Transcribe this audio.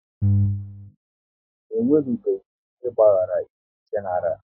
E nwenubeghi onye gbaghara iwu Genaral